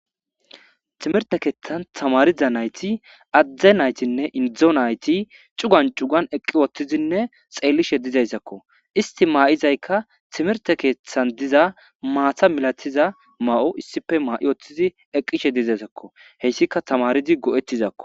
Timirte keeththan tamarida nayti adde naytinne indo nayti cugan cugan eqqi woththizinne xeellishe dizayssakko. Isti maa7izaykka timirte keeththan diza maata malatiza ma7o issippe maa7i woththizi eqqishe dizaysakko. Heyssika tamaridi go7ettizakko.